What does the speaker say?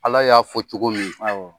Ala y'a fɔ cogo min